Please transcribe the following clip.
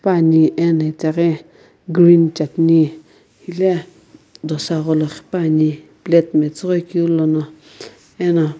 puani ena itaghi green chutney ghi dosa gholo quipuani plate metsughoi keu lono eno.